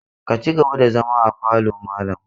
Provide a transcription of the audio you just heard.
Ka ci gaba da zama a falo malam!